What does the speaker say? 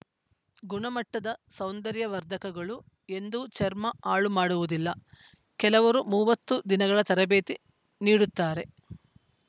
ಗುಣಮಟ್ಟದ ಸೌಂದರ್ಯ ವರ್ಧಕಗಳು ಎಂದೂ ಚರ್ಮ ಹಾಳು ಮಾಡುವುದಿಲ್ಲ ಕೆಲವರು ಮೂವತ್ತು ದಿನಗಳ ತರಬೇತಿ ನೀಡುತ್ತಾರೆ